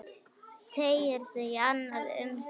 Teygir sig í annað umslag.